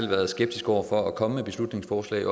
været skeptisk over for at komme med beslutningsforslag